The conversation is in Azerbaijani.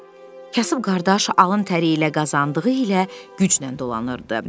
Kasıb qardaş alın təri ilə qazandığı ilə güclə dolanırdı.